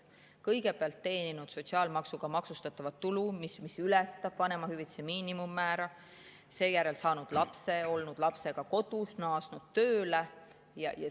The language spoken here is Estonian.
Kõigepealt teeninud sotsiaalmaksuga maksustatavat tulu, mis ületab vanemahüvitise miinimummäära, seejärel saanud lapse, olema olnud lapsega kodus ja naasnud tööle.